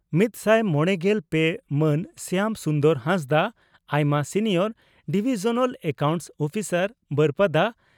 ᱢᱤᱛᱥᱟᱭ ᱢᱚᱲᱮᱜᱮᱞ ᱯᱮ ᱢᱟᱱ ᱥᱭᱟᱢ ᱥᱩᱱᱫᱚᱨ ᱦᱟᱸᱥᱫᱟᱜ, ᱟᱭᱢᱟ ᱥᱤᱱᱤᱭᱚᱨ ᱰᱤᱵᱷᱤᱡᱚᱱᱟᱞ ᱮᱠᱟᱣᱩᱱᱴᱥ ᱩᱯᱤᱥᱟᱨ, ᱵᱟᱹᱨᱯᱟᱫᱟ ᱾